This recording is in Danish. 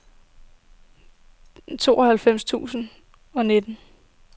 tooghalvfems tusind og nitten